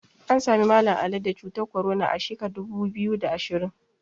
An Sami Mallam Ali da cutar korona a sheka dubu biyu da ashirin